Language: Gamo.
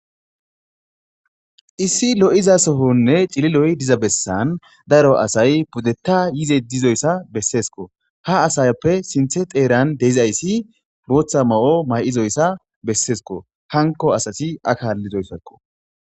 Issi lo'iza sofonne cililoy diza bessan daro asay buddetta yize dizoyssa besseesko ha asayappe sinthe xeeran deizayssi booththa ma7o may'izoyssa besseesko hanko asati akaallizoyssakko.